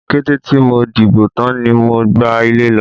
Kété tí mo dìbò tán ni mo gba ilé lọ.